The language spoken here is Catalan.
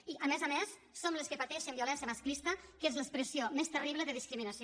i a més a més som les que pateixen violència masclista que és l’expressió més terrible de discriminació